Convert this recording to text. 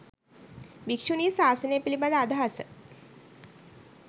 භික්‍ෂුණී ශාසනය පිළිබඳ අදහස